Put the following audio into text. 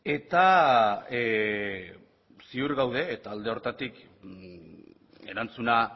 eta ziur gaude eta alde horretatik erantzuna